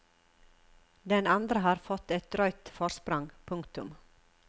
Den andre har fått et drøyt forsprang. punktum